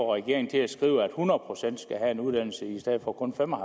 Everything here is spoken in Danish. regeringen til at skrive at hundrede procent skal have en uddannelse i stedet for kun fem og